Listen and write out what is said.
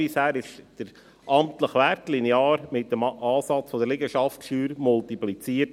Bisher wurde der amtliche Wert linear mit einem Ansatz der Liegenschaftssteuer multipliziert.